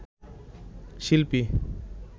শিল্পী